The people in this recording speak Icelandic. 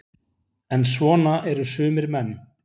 En svona eru sumir menn.